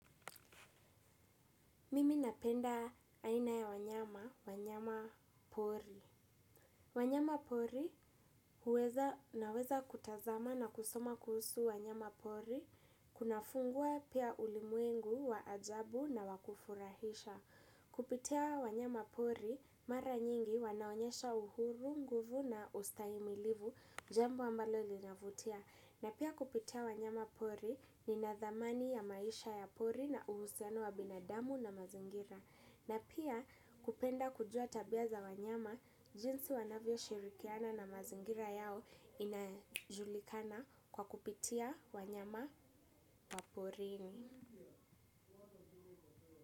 Mimi napenda aina ya wanyama, wanyama pori. Wanyama pori naweza kutazama na kusoma kuhusu wanyama pori, kunafungua pia ulimwengu wa ajabu na wakufurahisha. Kupitia wanyama pori, mara nyingi wanaonyesha uhuru, nguvu na ustahimilivu, jambo ambalo linavutia. Na pia kupitia wanyama pori ninadhamani ya maisha ya pori na uhusiano wa binadamu na mazingira. Na pia kupenda kujua tabia za wanyama, jinsi wanavyoshirikiana na mazingira yao inajulikana kwa kupitia wanyama wa porini.